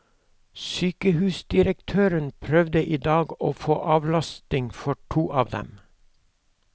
Sykehusdirektøren prøvde i dag å få avlastning for to av dem.